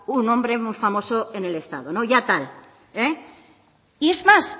un hombre muy famoso en el estado no ya tal y es más